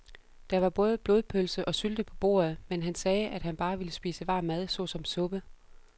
Der var både blodpølse og sylte på bordet, men han sagde, at han bare ville spise varm mad såsom suppe.